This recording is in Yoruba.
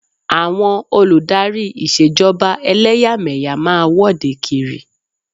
Àwọn olù dárí Ìṣèjọba ẹlẹ́yàmẹ̀yà máa wọ́de kiri.